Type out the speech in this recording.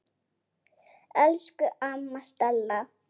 Elsku amma Stella.